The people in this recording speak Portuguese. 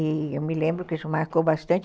E eu me lembro que isso marcou bastante.